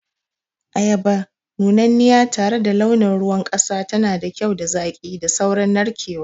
Ayaba nunanniya tare da launin ruwan kasa tana da kyau da zaƙi da saurin narkewa.